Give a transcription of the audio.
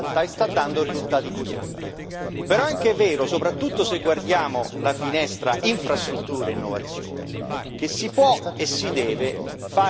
Però è anche vero, soprattutto se guardiamo la finestra infrastrutture e innovazione, che si può e si deve fare meglio e fare di più.